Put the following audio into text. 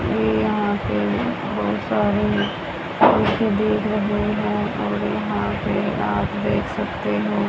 ये यहां पे बहोत सारी देख रहे है और यहां पे आप देख सकते है।